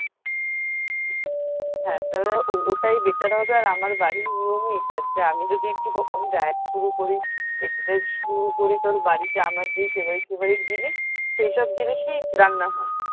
হ্যা তাহলে ওটাই better হবে আর আমার বাড়ির নিয়মই এটা যে আমি যদি একটু কখনো diet শুরু করি exercise শুরু করি তাহলে বাড়িতে আমার যে favourite favourite জিনিস সেসব জিনিসই রান্না হয়